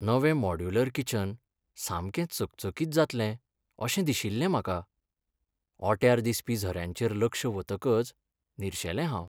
नवें modular kitchen सामकें चकचकीत जातलें अशें दिशिल्लें म्हाका. ओट्यार दिसपी झऱ्यांचेर लक्ष वतकच निरशेलें हांव.